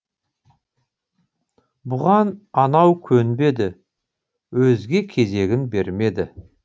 бұған анау көнбеді өз кезегін бермеді